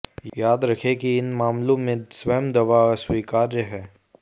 याद रखें कि इन मामलों में स्वयं दवा अस्वीकार्य है